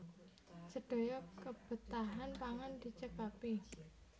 Sedaya kebetahan pangan dicekapi